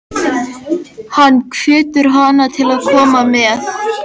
Hann hvetur hana til að koma með.